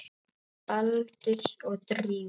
Baldurs og Drífu?